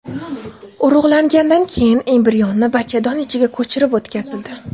Urug‘langandan keyin embrionni bachadon ichiga ko‘chirib o‘tkazildi.